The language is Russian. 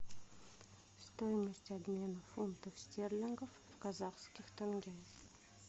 стоимость обмена фунтов стерлингов в казахских тенге